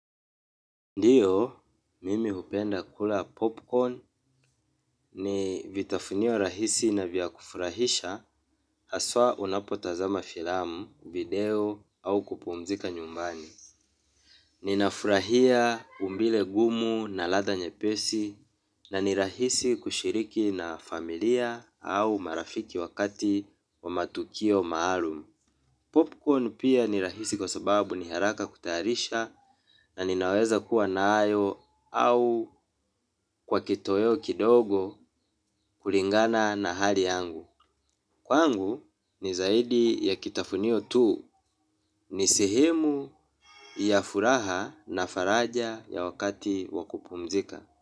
Ndio, mimi hupenda kula 'popcorn' ni vitafunio rahisi na vya kufurahisha haswa unapotazama filamu, video au kupumzika nyumbani. Ninafurahia umbile gumu na ladha nyepesi na ni rahisi kushiriki na familia au marafiki wakati wa matukio maalum. 'Popcorn' pia ni rahisi kwa sababu ni haraka kutayarisha, na ninaweza kuwa nayo au kwa kitoweo kidogo, kulingana na hali yangu. Kwangu ni zaidi ya kitafunio tu, ni sehemu ya furaha na faraja ya wakati wa kupumzika.